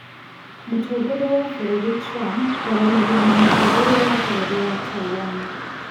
Mũtongoria wa bũrũri Trump kwaranĩria na mũtongoria wa bũrũri wa Taiwan